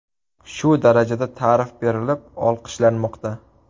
Shu darajada ta’rif berilib, olqishlanmoqda.